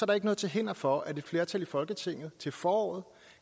der ikke noget til hinder for at et flertal i folketinget til foråret